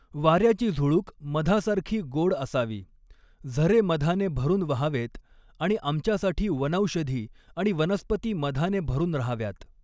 वाऱ्याची झुळूक मधासारखी गोड असावी, झरे मधाने भरून वहावेत आणि आमच्यासाठी वनौषधी आणि वनस्पती मधाने भरून रहाव्यात!